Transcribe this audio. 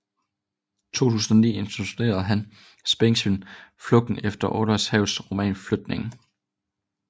I 2009 instruerede hun spændingsfilmen Flugten efter Olav Hergels roman Flygtningen